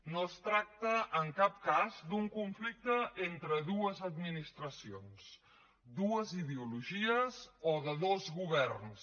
no es tracta en cap cas d’un conflicte entre dues administracions dues ideologies o de dos governs